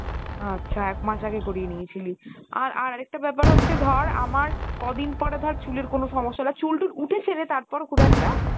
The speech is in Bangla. আচ্ছা এক মাস আগে করিয়ে নিয়েছিলি আর আর একটা ব্যাপার হচ্ছে ধর আমার কদিনপর ধর চুলের কোনো সমস্যা হলে আর চুল টুল উঠেছে রে তারপর খুব একটা?